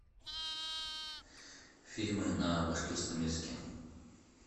фильмы на башкирском языке